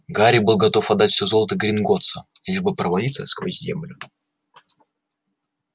гарри был готов отдать все золото гринготтса лишь бы провалиться сквозь землю